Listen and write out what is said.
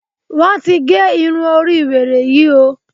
Wọ́n ti ge irun orí wèrè yí o!